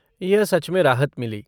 यह सच में राहत मिली।